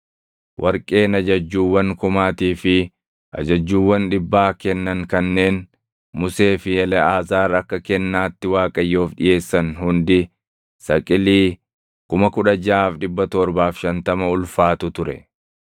Warqeen ajajjuuwwan kumaatii fi ajajjuuwwan dhibbaa kennan kanneen Musee fi Eleʼaazaar akka kennaatti Waaqayyoof dhiʼeessan hundi saqilii 16,750 ulfaatu ture.